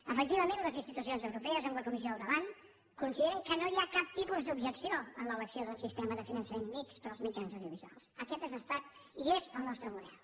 efectivament les institucions europees amb la comissió al davant consideren que no hi ha cap tipus d’objecció en l’elecció d’un sistema de finançament mixt per als mitjans audiovisuals aquest ha estat i és el nostre model